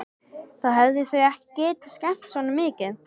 Þá hefðu þau ekki getað skemmt svona mikið.